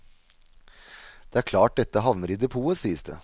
Det er klart dette havner i depotet, sies det.